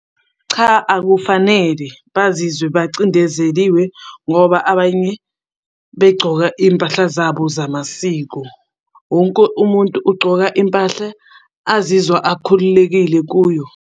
Cha, akufanele bazizwe bacindezeliwe ngoba abanye begcoka iy'mpahla zabo zamasiko. Wonke umuntu ugcoka impahla azizwa akhululekile kuyo.